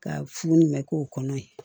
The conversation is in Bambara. Ka fu ni mɛn k'o kɔnɔ yen